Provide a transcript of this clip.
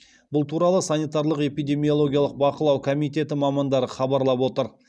бұл туралы санитарлық эпидемиологиялық бақылау комитеті мамандары хабарлап отыр